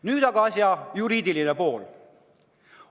Nüüd aga asja juriidiline pool.